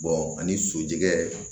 ani sojigi